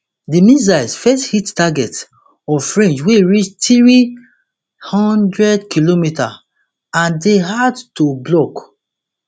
di missiles fit hit targets of range wey reach three hundredkm and dey hard to block